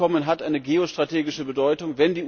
Dieses Abkommen hat eine geostrategische Bedeutung.